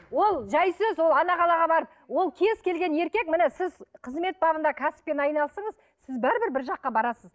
ол жәй сөз ол ана қалаға барып ол кез келген еркек міне сіз қызмет бабында кәсіппен айналысыңыз сіз бәрібір бір жаққа барасыз